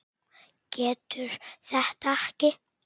Getur þetta ekki.